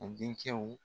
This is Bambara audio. A denkɛw